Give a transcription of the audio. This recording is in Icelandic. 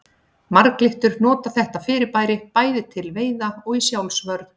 Marglyttur nota þetta fyrirbæri bæði til veiða og í sjálfsvörn.